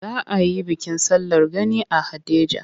Za a yi bikin sallar gani a Haɗeja.